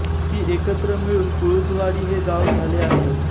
ती एकत्र मिळून पुळूजवाडी हे गांव झाले आहे